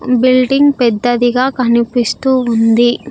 Building పెద్దదిగా కనిపిస్తూ ఉంది.